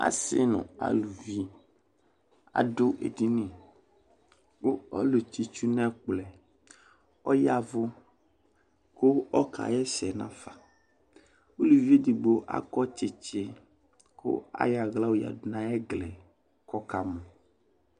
Asi nʋ aluvi adʋ edini kʋ ɔlʋtsitsu n'ɛkplɔ yɛ ɔyavʋ kʋ ɔkaha ɛsɛ n'afa Uluvi edigbo akɔ tsitsi kʋ ayɔ aɣla yǝdʋ nʋ ay'ɛgla yɛ k'ɔkamɔ